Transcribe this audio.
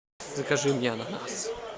закажи мне ананас